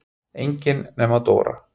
Enga nema Dóu.